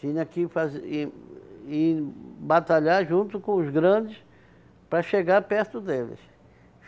Tinha que fazer ir ir batalhar junto com os grandes para chegar perto deles.